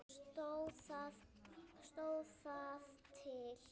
Stóð það til?